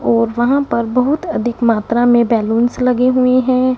और वहां पर बहुत अधिक मात्रा में बैलुन्स लगे हुए हैं।